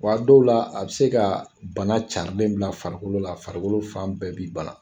Wa a dɔw la a be se ka bana carilen bila farikolo la ,farikolo fan bɛɛ b'i ban